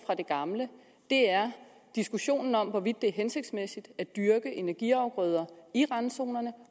fra det gamle er diskussionen om hvorvidt det er hensigtsmæssigt at dyrke energiafgrøder i randzonerne